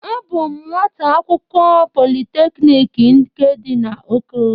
Abụ m nwata akwukwo Polịteknik nke dị na Oko.